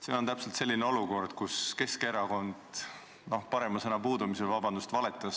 See on täpselt selline olukord, kus Keskerakond – parema sõna puudumisel ütlen nii, vabandust!